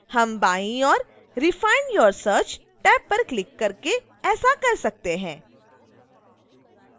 हम बाईं ओर refine your search टैब पर क्लिक करके ऐसा कर सकते हैं